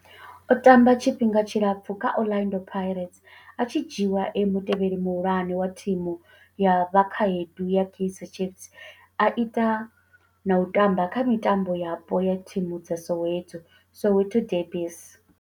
O tamba tshifhinga tshilapfhu kha Orlando Pirates, a tshi dzhiiwa e mutevheli muhulwane wa thimu ya vhakhaedu ya Kaizer Chiefs, a ita na u tamba kha mitambo yapo ya thimu dza Soweto, Soweto derbies.